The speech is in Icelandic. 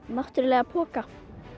náttúrulega poka